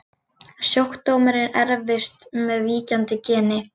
Sjúkdómurinn erfist með víkjandi geni.